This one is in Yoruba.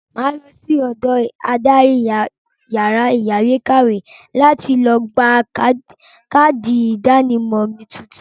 Mà á lọ sí ọ̀dọ adarí yàrá ìyáwèékàwé láti gba káàdì ìdánimọ̀ mi tuntun.